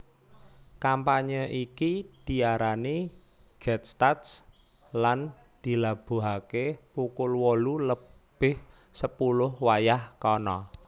Kampanye iki diarani getstats lan dilabuhaké pukul wolu lebih sepuluh wayah kana